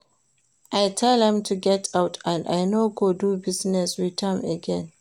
I tell am to get out and I no go do business with am again